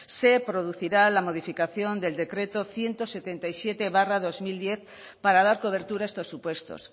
se producirá la modificación del decreto ciento setenta y siete barra dos mil diez para dar cobertura a estos supuestos